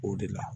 O de la